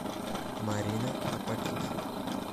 марина апакидзе